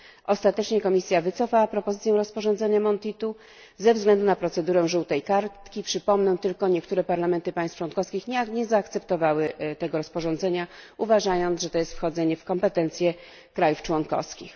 Ostatecznie Komisja wycofała propozycję rozporządzenia Monti II ze względu na procedurę żółtej kartki przypomnę tylko niektóre parlamenty państw członkowskich nie zaakceptowały tego rozporządzenia, uważając, że jest to wchodzenie w zakres kompetencji państw członkowskich.